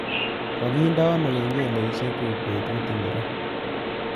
Kangindeno kengeleshekchuk betut ngiro